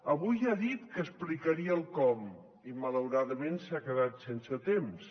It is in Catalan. avui ja ha dit que explicaria el com i malauradament s’ha quedat sense temps